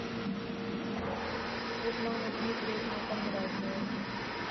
светланы дмитриевны кондратьевой